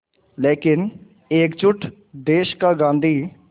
लेकिन एकजुट देश का गांधी